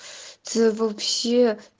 ты вообще